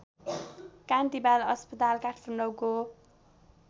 कान्ति बाल अस्पताल काठमाडौँको